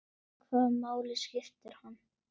En hvaða máli skiptir hann?